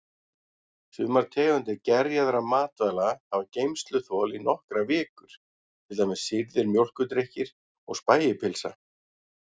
Sumar tegundir gerjaðra matvæli hafa geymsluþol í nokkrar vikur, til dæmis sýrðir mjólkurdrykkir og spægipylsa.